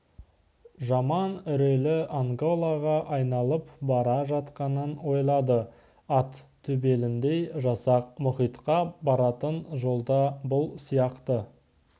жаман үрейлі анголаға айналып бара жатқанын ойлады ат төбеліндей жасақ мұхитқа баратын жолда бұл сияқты